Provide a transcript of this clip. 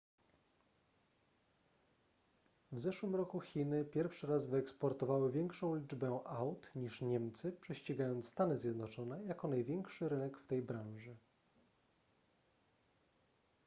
w zeszłym roku chiny pierwszy raz wyeksportowały większą liczbę aut niż niemcy prześcigając stany zjednoczone jako największy rynek w tej branży